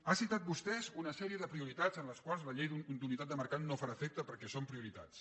ha citat vostè una sèrie de prioritats en les quals la llei d’unitat de mercat no farà efecte perquè són prioritats